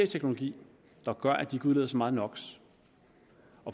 teknologi der gør at de udleder så meget no